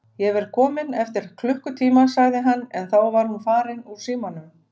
Ég verð kominn eftir klukkutíma, sagði hann en þá var hún farin úr símanum.